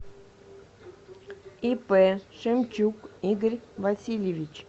ип шемчук игорь васильевич